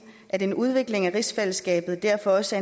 at en udvikling af rigsfællesskabet derfor også